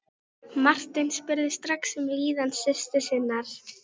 Marteinn spurði strax um líðan systur sinnar.